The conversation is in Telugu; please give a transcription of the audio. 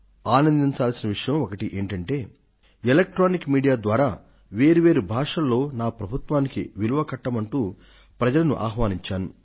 ఆనందించాల్సిన విషయం ఒకటి ఏమిటంటే సాంకేతిక మాధ్యమం ఎలక్ట్రానిక్ మీడియా ద్వారా వేర్వేరు భాషలలో నా ప్రభుత్వానికి విలువ కట్టండంటూ ప్రజలను ఆహ్వానించాను